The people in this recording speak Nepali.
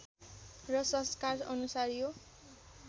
र संस्कार अनुसार यो